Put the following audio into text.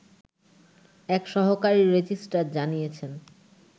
এক সহকারী রেজিস্ট্রার জানিয়েছেন